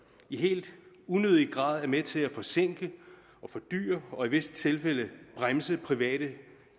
i helt unødig grad er med til at forsinke og fordyre og i visse tilfælde bremse private